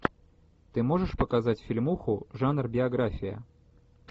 ты можешь показать фильмуху жанр биография